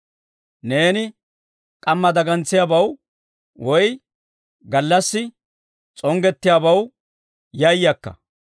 Neeni k'amma dagantsiyaabaw, woy gallassi s'onggettiyaabaw yayakka;